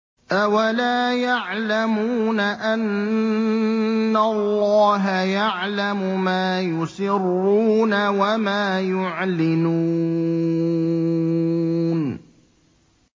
أَوَلَا يَعْلَمُونَ أَنَّ اللَّهَ يَعْلَمُ مَا يُسِرُّونَ وَمَا يُعْلِنُونَ